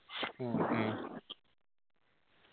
ആ